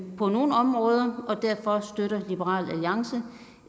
på nogle områder og derfor støtter liberal alliance